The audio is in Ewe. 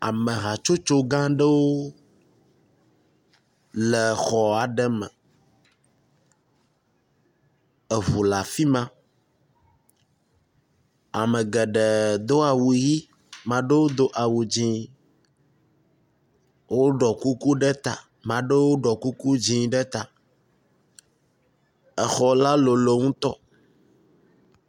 Amehatsotso gã aɖewo le xɔ aɖe me, eŋu le afi ma, ame geɖee do awu ʋi ame aɖewo do awu dzɛ̃, woɖɔ kuku ɖe ta. Maɖewo ɖɔ kuku dzɛ̃ ɖe ta. Xɔ la lolo ŋutɔ.